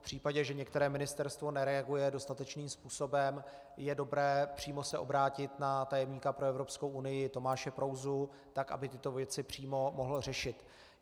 V případě, že některé ministerstvo nereaguje dostatečným způsobem, je dobré se přímo obrátit na tajemníka pro Evropskou unii Tomáše Prouzu, tak aby tyto věci přímo mohl řešit.